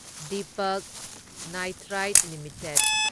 Deepak Nitrite limited